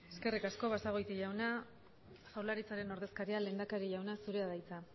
eskerrik asko basagoiti jauna jaurlaritzaren ordezkaria lehendakari jauna zurea da hitza